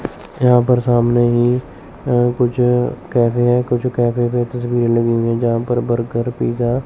यहां पर सामने ही अ कुछ कैफे है कैफे में कुछ तस्वीर लगी हुई हैं जहां पर बर्गर पिज्जा --